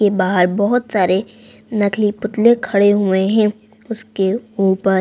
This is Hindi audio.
ये बाहर बहोत सारे नकली पुतले खड़े हुए हैं उसके ऊपर--